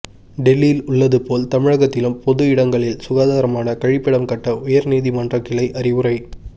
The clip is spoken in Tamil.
டெல்லியில் உள்ளது போல் தமிழகத்திலும் பொது இடங்களில் சுகாதாரமான கழிப்பிடம் கட்ட உயர்நீதிமன்ற கிளை அறிவுரை